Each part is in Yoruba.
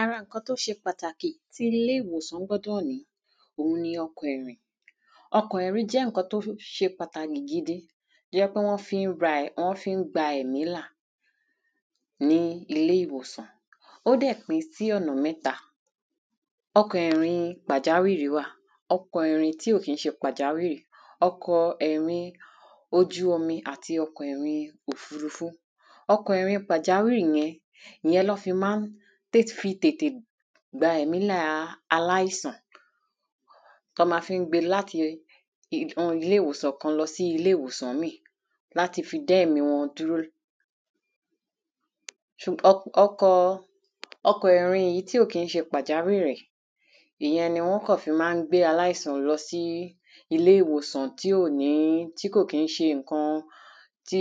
ara ǹkan tó ṣe pàtàkì tí ilé-ìwòsán gbọ́dọ̀ ní òun ni ọkọ̀ ìrìn. ọkọ̀ ìrín jẹ́ ǹkan tó ṣe pàtàkì gidi tó jẹ́ pé wọ́n fi ń ra, wọ́n fi ń gba ẹ̀mí là ní ilé-ìwòsàn. ó dẹ̀ pín sí ọ̀nà mẹ́ta; ọkọ̀ ìrìn-in pàjáwìrì wà, ọkọ̀ ìrìn tí ò kín ṣe pàjáwìrì, ọkọ̀ ẹ̀rin ojú omi, àti ọkọ̀ ìrin òfurufú. ọkọ̀ ìrin pàjáwìrì yẹn, ìyẹn ná fi mán té fi tètè gba ẹ̀mí làa aláìsàn, tán ma fi ń gbe láti ilé-ìwòsàn kan sí ilé-ìwòsàn míì láti fi dẹ́mí wọn dúró. ọkọ̀ọ, ọkọ̀ọ ìrin èyí tí ò kín ṣe pàjáwìrì, ìyẹn ni wọ́n kàn fi ma ń gbé aláìsàn lọ sí ilé-ìwòsàn tí ò ní, tí ò kín ṣe ǹkan tí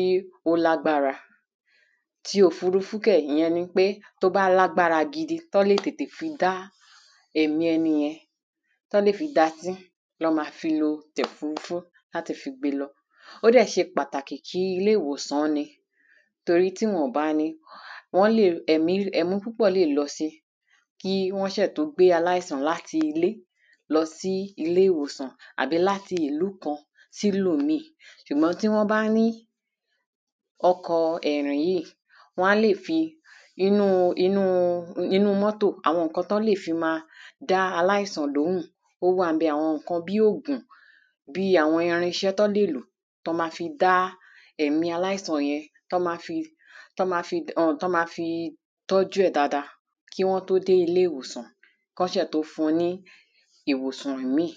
ó lágbára. tí òfurufú kẹ̀, ìyẹn ni pé tó bá lágbára gidi tán lè tètè fi dá èmí ẹnìyẹn, tán lè fi dá sí ná ma fi lo tòfurufú láti fi gbe lọ, ó dẹ̀ ṣe pàtàkì kí ilé-ìwòsán ni, tóri tí wọn ò bá ni, wọ́n lè, ẹ̀mí, ẹ̀mí púpọ̀ọ́ lè lọ si, kí wọ́n ṣẹ̀ tó gbé aláìsàn láti ilé lọ sí ilé-ìwòsàn, àbí láti ìlú kan sí ìlúù míì, ṣùgbọ́n tí wọ́n bá ní ọkọ̀ọ ẹ̀rìn yíì, wán lè fi, inú inúu inúu mọ́tò, àwọn ǹkan tán lè fi ma dá aláìsàn lóhùn, ó wà ńbẹ̀, àwọn ǹkan bí ògùn, bíi àwọn irinṣẹ́ tán lè lò, tán ma fi dá ẹ̀mí aláìsàn yẹn, tán ma fi, tán ma fi ùn, tán ma fi tọ́jú ẹ̀ dáada kí wọ́n tó dé ilé-ìwòsàn, kán ṣẹ̀ tó fun ní ìwòsàn ìmíì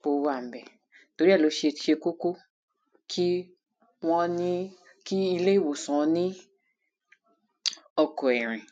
pó wà ńbẹ̀. torí ẹ̀ lóṣe ṣe kókó kí wọ́n ní, kí ilé-ìwòsán ní ọkọ̀ ìrìn.